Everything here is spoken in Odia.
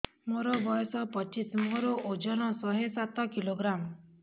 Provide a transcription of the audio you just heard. ମୋର ବୟସ ପଚିଶି ମୋର ଓଜନ ଶହେ ସାତ କିଲୋଗ୍ରାମ